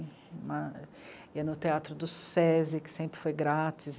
Ia ao teatro do sê é sê i, que sempre foi grátis.